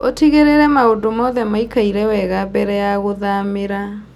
Ũtigĩrĩre maũndũ mothe maikaire wega mbere wa gũthamĩra.